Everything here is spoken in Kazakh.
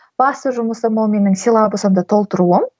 басты жұмысым ол менің силабусымды толтыруым